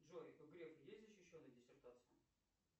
джой у грефа есть защищенная диссертация